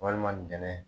Walima bɛnɛ